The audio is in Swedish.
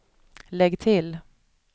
lägg till